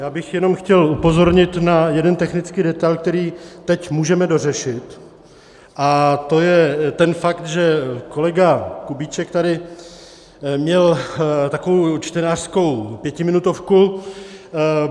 Já bych jenom chtěl upozornit na jeden technický detail, který teď můžeme dořešit, a to je ten fakt, že kolega Kubíček tady měl takovou čtenářskou pětiminutovku.